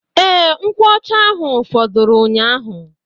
Ee, nkwuọcha ahụ fọdụrụ ụnyaahụ